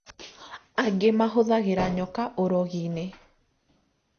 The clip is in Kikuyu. Angĩ mahũthagĩra nyoka ũrogi-inĩ